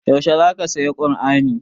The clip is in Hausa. Yaushe za ka saya kur'ani?